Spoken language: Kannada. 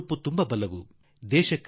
ಹೊಸ ಉತ್ಸಾಹ ಚಿಮ್ಮಿಸಬಹುದಾಗಿದೆ